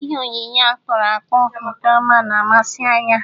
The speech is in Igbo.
Ihe oyiyi a kpụrụ akpụ nke ọma na-amasị anya.